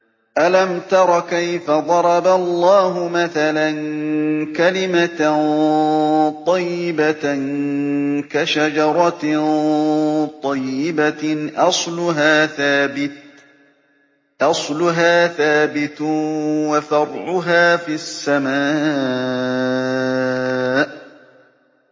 أَلَمْ تَرَ كَيْفَ ضَرَبَ اللَّهُ مَثَلًا كَلِمَةً طَيِّبَةً كَشَجَرَةٍ طَيِّبَةٍ أَصْلُهَا ثَابِتٌ وَفَرْعُهَا فِي السَّمَاءِ